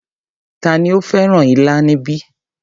Tani ó fẹ́ràn ilá níbí?